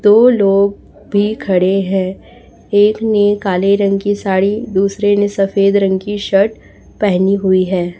दो लोग भी खड़े हैं एक ने काले रंग की साड़ी दूसरे ने सफेद रंग की शर्ट पहनी हुई है।